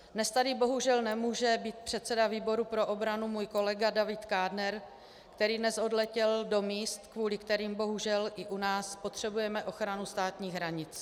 Dnes tady, bohužel, nemůže být předseda výboru pro obranu můj kolega David Kádner, který dnes odletěl do míst, kvůli kterým, bohužel, i u nás potřebujeme ochranu státních hranic.